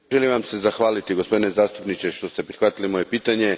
Želim Vam se zahvaliti, gospodine zastupniče, što ste prihvatili moje pitanje.